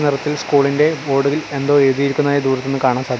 നിറത്തിൽ സ്കൂളിൻ്റെ ബോഡറിൽ എന്തോ എഴുതിയിരിക്കുന്നതായി ദൂരത്തു നിന്ന് കാണാൻ സാധി--